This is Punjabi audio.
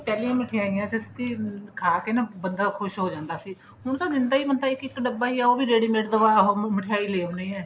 ਪਹਿਲੀਆਂ ਮਿਠਾਈਆਂ ਸੱਚੀ ਖਾਕੇ ਨਾ ਬੰਦਾ ਖ਼ੁਸ਼ ਹੋ ਜਾਂਦਾ ਸੀ ਹੁਣ ਤਾਂ ਦਿੰਦਾ ਹੀ ਮਸਾਂ ਇੱਕ ਇੱਕ ਡੱਬਾ ਹੀ ਆਂ ਉਹ ਵੀ ready made ਮਿਠਾਈ ਲੈ ਆਉਂਣੇ ਏ